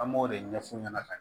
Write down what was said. An b'o de ɲɛf'u ɲɛna